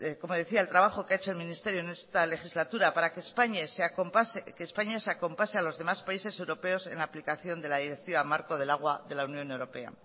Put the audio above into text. como decía el trabajo que ha hecho el ministerio en esta legislatura para que españa se acompase a los demás países europeos en la aplicación de la directiva marco del agua de la unión europea